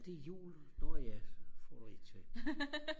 det er jul når ja så får du et til